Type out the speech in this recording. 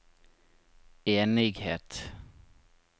enighet